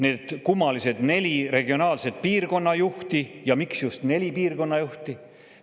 Need kummalised neli regionaalset piirkonnajuhti – miks just neli piirkonnajuhti?